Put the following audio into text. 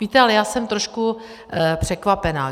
Víte, ale já jsem trošku překvapená.